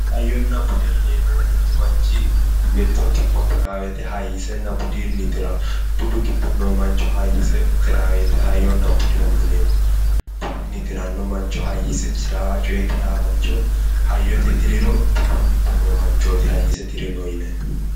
Hayyonna bude yineemmohu mittu manchi mitto kipho tiraa woyite hayyisenna budunni tirawo. Budu giddo noo manchi hayyise tiraa woyite hayyonna budeho yineemmo. Budunni tiranno mancho hayyise tiraaha coye tirawo mancho hayyote tiriro budu giddo noo manchooti hayyise tirino yinayihu.